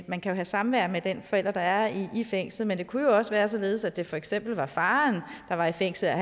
man kan have samvær med den forælder der er i i fængslet men det kunne jo også være således at det for eksempel var faren der var i fængsel og